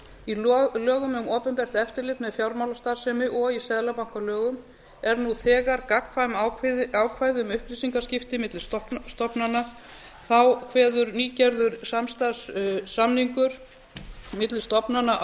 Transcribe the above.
í lögum um opinbert eftirlit með fjármálastarfsemi og í seðlabankalögum eru nú þegar gagnkvæm ákvæði um upplýsingaskipti milli stofnana þá kveður nýgerður samstarfssamningur milli stofnana